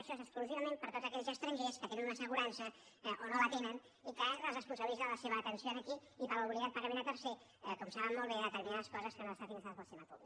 això és exclusivament per a tots aquells estrangers que tenen una assegurança o no la tenen i que es responsabilitza de la seva atenció aquí i per l’obligat pagament a tercers com saben molt bé de determinades coses que no estan finançades pel sistema públic